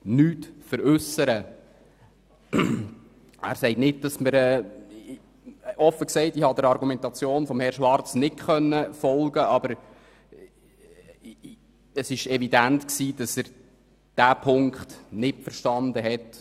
Ich habe seiner Argumentation nicht folgen können, doch es ist evident, dass er diesen Punkt nicht verstanden hat.